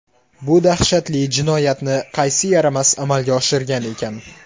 Bu dahshatli jinoyatni qaysi yaramas amalga oshirgan ekan?!